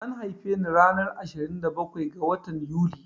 An haife ni ranar ashirin da bakwai ga watan Yuli